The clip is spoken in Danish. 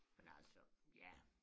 Men altså ja